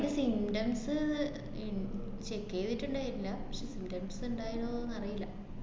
ഇതിന് symptoms ഇൺ~ check ചെയ്തിട്ട്ണ്ടായില്ല. പക്ഷെ symptoms ഇണ്ടായിരുന്നോന്ന് അറിയില്ല